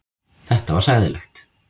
Þetta var hræðilegt.